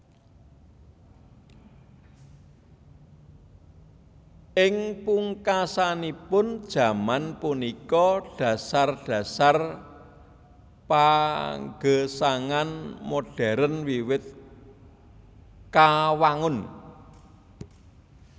Ing pungkasanipun jaman punika dhasar dhasar pagesangan modern wiwit kawangun